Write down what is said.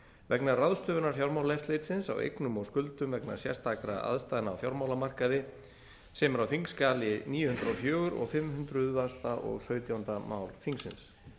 vegna ráðstöfunar fjármálaeftirlitsins á eignum og skuldum vegna sérstakra aðstæðna á fjármálamarkaði sem er á þingskjali níu hundruð og fjögur og fimm hundruð og sautjánda mál þingsins